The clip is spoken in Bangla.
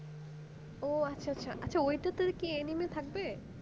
ও আচ্ছা আচ্ছা ওইটাতে কি আর anime থাকবে?